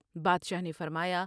بادشاہ نے فرمایا ۔